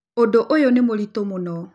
Ũndũ ũyũ nĩ mũritũ mũno